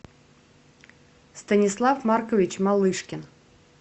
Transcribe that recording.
станислав маркович малышкин